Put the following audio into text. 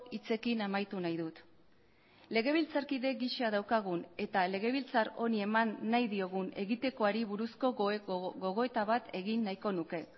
hitzekin amaitu nahi dut legebiltzarkide gisa daukagun eta legebiltzar honi eman nahi diogun egitekoari buruzko gogoeta bat egin nahiko nuke